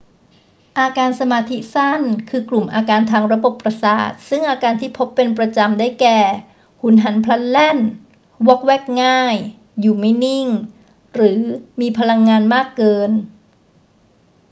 อาการสมาธิสั้น คือกลุ่มอาการทางระบบประสาทซึ่งอาการที่พบเป็นประจำ ได้แก่ หุนหันพลันแล่น วอกแวกง่าย อยู่ไม่นิ่ง หรือมีพลังงานมากเกิน